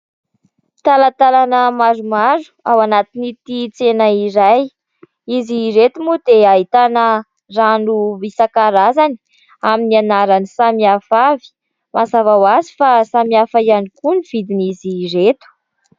Talatalana maromaro ao anatin'ity tsena iray. Izy ireto moa dia ahitana rano isan-karazany amin'ny anarany samy hafa avy. Mazava ho azy fa samy hafa ihany koa ny vidin'izy ireto.